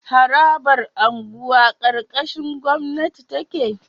Harabar unguwa karkashin gwamnati take